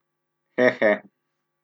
He, he.